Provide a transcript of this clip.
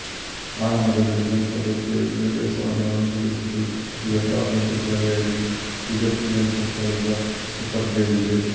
ಆರಂಭದಲ್ಲಿ ಫ್ರೆಂಚ್ ಪದ್ಧತಿಯ ವಿದ್ಯಾಭ್ಯಾಸವನ್ನು ಅನುಸರಿಸಿದ್ದುಈಗ ಸಾರ್ವಜನಿಕ ಶಾಲೆಯಾಗಿ ಈಜಿಪ್ತಿಯನ್ ಸರ್ಕಾರದ ಸುಪರ್ಧಿಯಲ್ಲಿದೆ